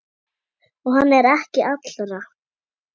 Og hann er ekki allra.